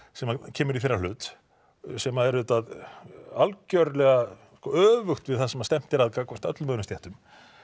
sem kemur í þeirra hlut sem er algerlega öfugt við það sem stefnt er að gagnvart öllum öðrum stéttum